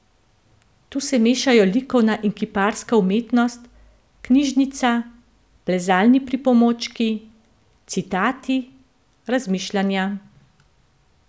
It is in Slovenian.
Tu se mešajo likovna in kiparska umetnost, knjižnica, plezalni pripomočki, citati, razmišljanja ...